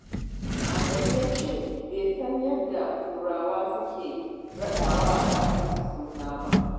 Adamu ya ce bai san yadda Turawa suke raɗa wa ƴaransu suna ba.